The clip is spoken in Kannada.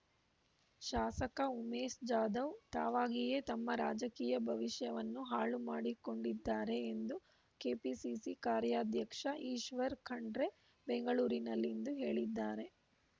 ಶಾಸಕ ಉಮೇಶ್ ಜಾಧವ್ ತಾವಾಗಿಯೇ ತಮ್ಮ ರಾಜಕೀಯ ಭವಿಷ್ಯವನ್ನು ಹಾಳುಮಾಡಿಕೊಂಡಿದ್ದಾರೆ ಎಂದು ಕೆಪಿಸಿಸಿ ಕಾರ್ಯಾಧ್ಯಕ್ಷ ಈಶ್ವರ್ ಖಂಡ್ರೆ ಬೆಂಗಳೂರಿನಲ್ಲಿಂದು ಹೇಳಿದ್ದಾರೆ